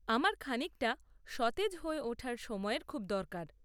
আমার খানিকটা সতেজ হয়ে ওঠার সময়ের খুব দরকার।